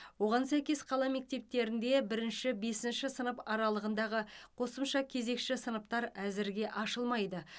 оған сәйкес қала мектептерінде бірінші бесінші сынып аралығындағы қосымша кезекші сыныптар әзірге ашылмайды